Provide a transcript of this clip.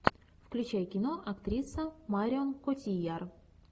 включай кино актриса марион котийяр